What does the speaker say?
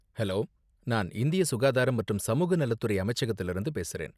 Hello! நான் இந்திய சுகாதாரம் மற்றும் சமூக நலத்துறை அமைச்சகத்துல இருந்து பேசுறேன்